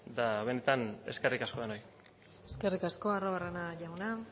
benetan eskerrik asko denoi eskerrik asko arruabarrena jauna